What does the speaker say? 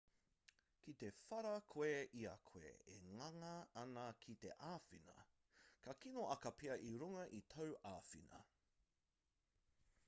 ki te whara koe i a koe e ngana ana ki te āwhina ka kino ake pea i runga i tāu āwhina